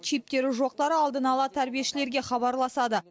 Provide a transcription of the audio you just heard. чиптері жоқтары алдын ала тәрбиешілерге хабарласады